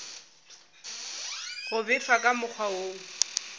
go befa ka mokgwa wo